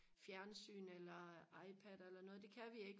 fjernsyn eller ipad eller noget det kan vi ikke